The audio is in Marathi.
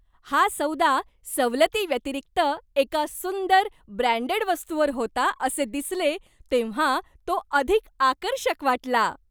हा सौदा सवलती व्यतिरिक्त एका सुंदर, ब्रँडेड वस्तूवर होता असे दिसले, तेव्हा तो अधिक आकर्षक वाटला.